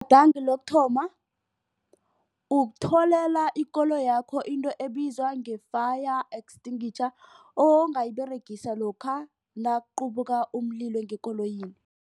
Lokuthoma ukutholela ikoloyakho into ebizwa nge-fire extinguisher ongayiberegisa lokha nakuqubuka umlilo ngekoloyini.